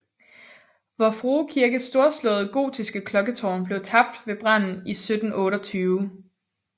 Vor Frue Kirkes storslåede gotiske klokketårn gik tabt ved branden i 1728